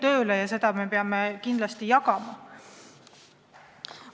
Seda tunnustust me peame kindlasti jagama.